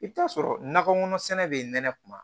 I bɛ t'a sɔrɔ nakɔ kɔnɔ sɛnɛ bɛ nɛnɛ kuma